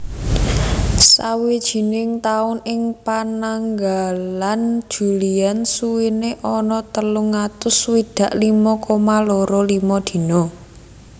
Sawijining taun ing Pananggalan Julian suwéné ana telung atus swidak limo koma loro limo dina